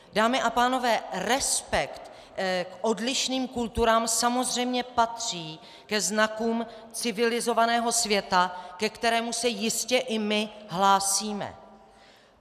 Dámy a pánové, respekt k odlišným kulturám samozřejmě patří ke znakům civilizovaného světa, ke kterému se jistě i my hlásíme.